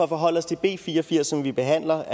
forholde os til b fire og firs som vi behandler